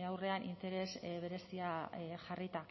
aurrean interes berezia jarrita